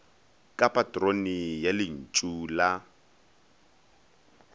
ke patrone ya lentšu la